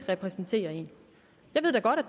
repræsenterer en